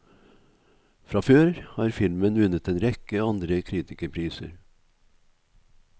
Fra før har filmen vunnet en rekke andre kritikerpriser.